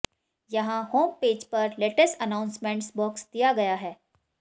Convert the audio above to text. यहां होमपेज पर latest announcements box दिया गया है